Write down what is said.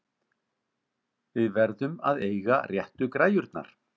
Við verðum að eiga réttu græjurnar!